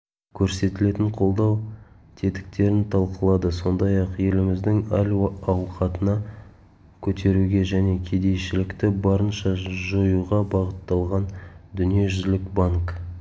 көрсетілетін қолдау тетіктерін талқылады сондай-ақ еліміздің әл-ауқатын көтеруге және кедейшілікті барынша жоюға бағытталған дүниежүзілік банк